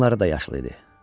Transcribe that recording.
Qınları da yaşıl idi.